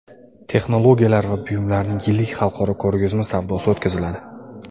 texnologiyalari va buyumlarining yillik xalqaro ko‘rgazma-savdosi o‘tkaziladi.